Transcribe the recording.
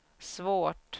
svårt